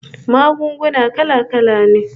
Magunguna kala-kala ne